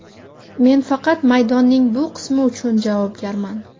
Men faqat maydonning bu qismi uchun javobgarman.